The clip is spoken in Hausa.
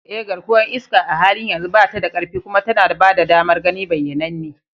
Eh, garkuwar iska a halin yanzu ba ta da ƙarfi kuma tana ba da damar gani bayyananne.